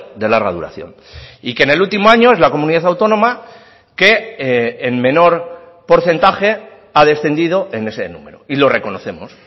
de larga duración y que en el último año es la comunidad autónoma que en menor porcentaje ha descendido en ese número y lo reconocemos